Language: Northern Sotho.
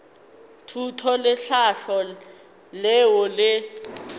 thuto le tlhahlo leo le